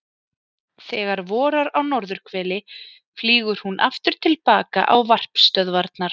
Þegar vorar á norðurhveli flýgur hún aftur til baka á varpstöðvarnar.